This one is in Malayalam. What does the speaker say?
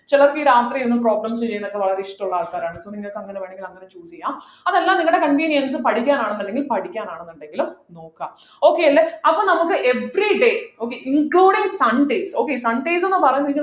ചിലർക്ക് ഈ രാത്രി ഒന്നും problems ചെയ്യുന്നതൊക്കെ വളരെ ഇഷ്ടമുള്ള ആൾക്കാരാണ് ഇപ്പൊ നിങ്ങൾക്കെങ്ങനെ വേണെങ്കിൽ അങ്ങനെ choose ചെയ്യാ അതല്ല നിങ്ങളുടെ convenience പഠിക്കാൻ ആണെന്നുണ്ടെങ്കിൽ പഠിക്കാനാണെന്നുണ്ടെങ്കിലും നോക്കുക okay ലെ അപ്പോൾ നമുക്ക് everyday okay including sunday okay sundays ന്നു പറയുന്നെങ്കി